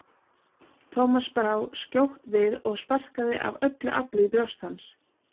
Thomas brá skjótt við og sparkaði af öllu afli í brjóst hans.